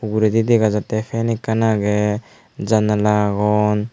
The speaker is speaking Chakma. uguredi dega jattey fan ekkan agey janala agon.